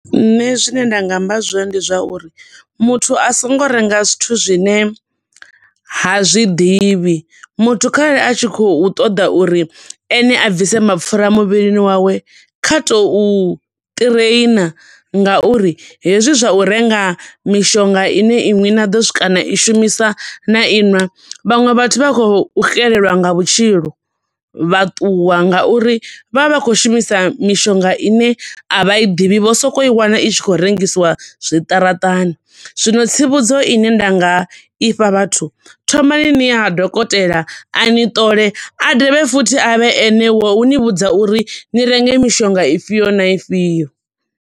Nṋe zwine nda nga amba zwone ndi zwa uri muthu a songo renga zwithu zwine ha zwiḓivhi. Muthu khare a tshi khou ṱoḓa uri ene a bvise mapfura muvhilini wawe, kha to u ṱhireina nga uri hezwi zwa u renga mishonga ine iṅwi na ḓo swika na i shumisa, na iṅwa, vhaṅwe vhathu vha khou xelelwa nga vhutshilo vha ṱuwa nga uri vho vha vha tshi khou shumisa mishonga ine avha i ḓivhi, vho soko i wana i tshi khou rengisiwa zwiṱaraṱani. Zwino tsivhudzo ine nda nga ifha vhathu thomani niye ha dokotela a ni ṱole, a dovhe futhi a vhe ene wo ni vhudza uri ni renge mishonga ifhio na ifhio.